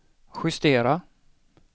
justera